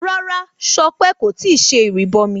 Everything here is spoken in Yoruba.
Rárá Sọpé kò tíì ṣe ìrìbọmi